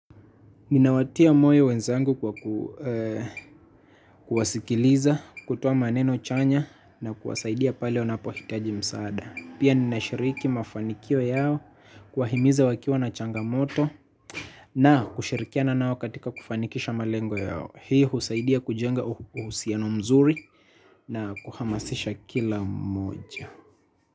Ninawatia moyo wenzangu kwa kuwasikiliza, kutuoa maneno chanya na kuwasaidia pale wanapohitaji msaada. Pia ninashiriki mafanikio yao, kuwahimiza wakiwa na changamoto na kushirikiana nao katika kufanikisha malengo yao. Hii husaidia kujenga uhusiano mzuri na kuhamasisha kila mmoja.